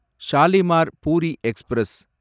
Shalimar Puri express